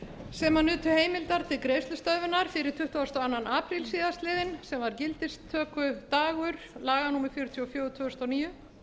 sem nutu heimildar til greiðslustöðvunar fyrir tuttugasta og annan apríl síðastliðinn sem var gildistökudagur laga númer fjörutíu og fjögur tvö þúsund og níu